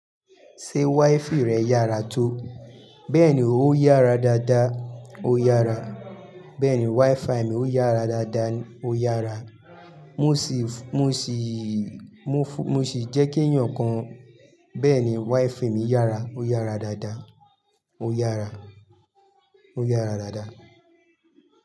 Ṣé wifi rẹ yára tó? Bẹ́ẹ̀ni, ó yára dáadáa, ó yára. Bẹ́ẹ̀ni, wifi mi ó yára dáadáa, ó yára. Mo sì, mo sì, mo sì jẹ́ kí èèyàn kan. Bẹ́ẹ̀ni, wífi mi yára, ó yára dáadáa, ó yára, ó yára dáadáa.